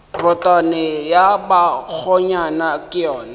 rotwane ya bakgonyana ke yona